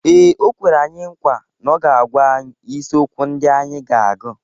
Ee, o kwere anyị nkwa na ọ ga-agwa anyị isiokwu ndị anyị ga-agụ.